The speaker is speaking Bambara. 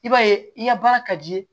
I b'a ye i ka baara ka di